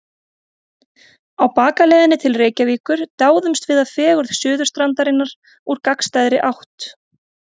Á bakaleiðinni til Reykjavíkur dáumst við að fegurð Suðurstrandarinnar úr gagnstæðri átt.